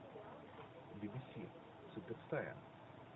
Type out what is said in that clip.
би би си супер стая